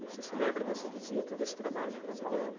E você se lembra dessa visita, desse trabalho na casa dela?